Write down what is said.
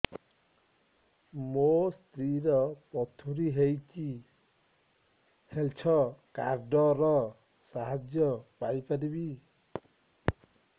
ମୋ ସ୍ତ୍ରୀ ର ପଥୁରୀ ହେଇଚି ହେଲ୍ଥ କାର୍ଡ ର ସାହାଯ୍ୟ ପାଇପାରିବି